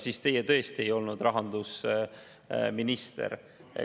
Siis tõesti teie ei olnud rahandusminister.